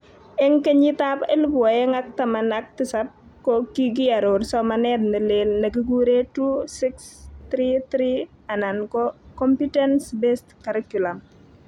Eng kenyitab elebu oeng ak taman ak tisab ko kikioror somanet ne leel nekikuree 2-6-3-3 anan ko Competence -Based Curriculum